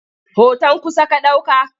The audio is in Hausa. Hoton kusa ka ɗauka?